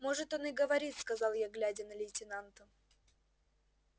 может он и говорит сказал я глядя на лейтенанта